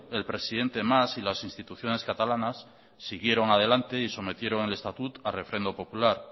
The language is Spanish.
el presidente mas y las instituciones catalanas siguieron adelante y sometieron al estatut a referendo popular